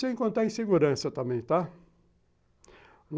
Sem contar em segurança também, tá?